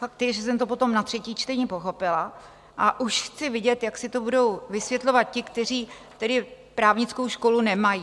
Fakt je, že jsem to potom na třetí čtení pochopila, a už chci vidět, jak si to budou vysvětlovat ti, kteří právnickou školu nemají.